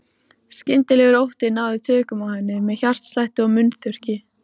Skyndilegur ótti náði tökum á henni með hjartslætti og munnþurrki.